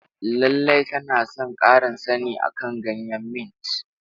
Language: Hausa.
Lallai tana son ƙarin sani akan ganyen mint.